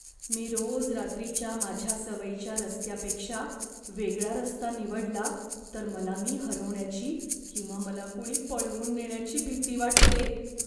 मी रोज रात्रीच्या माझ्या सवयीच्या रस्त्यापेक्षा वेगळा रस्ता निवडला तर मला मी हरवण्याची किंवा मला कुणी पळवून नेण्याची भीती वाटते.